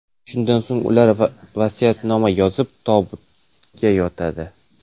Shundan so‘ng ular vasiyatnoma yozib, tobutga yotadi.